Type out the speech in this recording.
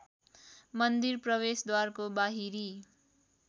मन्दिर प्रवेशद्वारको बाहिरी